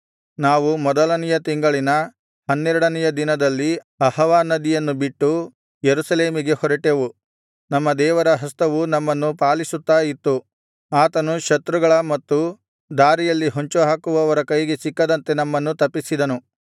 ನಾವು ಮೊದಲನೆಯ ತಿಂಗಳಿನ ಹನ್ನೆರಡನೆಯ ದಿನದಲ್ಲಿ ಅಹವಾ ನದಿಯನ್ನು ಬಿಟ್ಟು ಯೆರೂಸಲೇಮಿಗೆ ಹೊರಟೆವು ನಮ್ಮ ದೇವರ ಹಸ್ತವು ನಮ್ಮನ್ನು ಪಾಲಿಸುತ್ತಾ ಇತ್ತು ಆತನು ಶತ್ರುಗಳ ಮತ್ತು ದಾರಿಯಲ್ಲಿ ಹೊಂಚುಹಾಕುವವರ ಕೈಗೆ ಸಿಕ್ಕದಂತೆ ನಮ್ಮನ್ನು ತಪ್ಪಿಸಿದನು